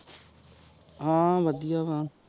ਹਾਂ ਵਾਦਿਯਆਹ